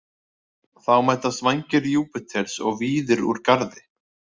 Þá mætast Vængir Júpíters og Víðir úr Garði.